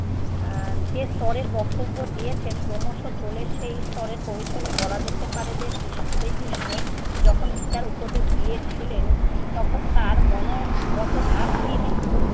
এ্যা যে স্তরের বক্তব্য দিয়েছেন ক্রমশ চ'লে সে স্তরে পৌঁছোলে বলা যেতে পারে যে কৃষ~ শ্রীকৃষ্ণ যখন গীতার উপদেশ দিয়েছেলেন তখন তার মনোগত ভাব কী ছিল।